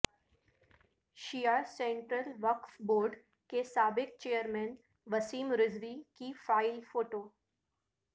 شیعہ central وقف board کے سابق چئیرمین وسیم رضوی کی فائل فوٹو